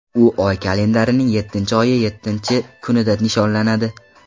U oy kalendarining yettinchi oyi yettinchi kunida nishonlanadi.